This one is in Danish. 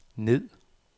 ned